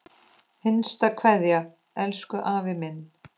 HINSTA KVEÐJA Elsku afi minn.